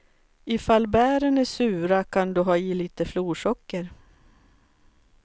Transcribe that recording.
Ifall bären är sura kan du ha i lite florsocker.